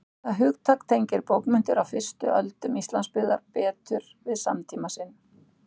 það hugtak tengir bókmenntir á fyrstu öldum íslandsbyggðar betur við samtíma sinn